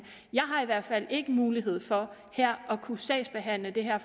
jeg har i hvert fald ikke mulighed for at kunne sagsbehandle det her